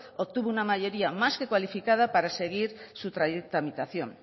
obtuvo una mayoría más que cualificada para seguir su tramitación